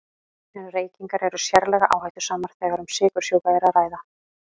En reykingar eru sérlega áhættusamar þegar um sykursjúka er að ræða.